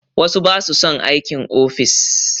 Wasu ba su son aikin ofis